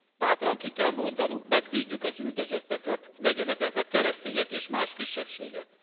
Bátran ki kell mondanunk, megvédjük az üldözötteket legyenek ezek keresztények és más kisebbségek!